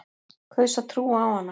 Kaus að trúa á hana.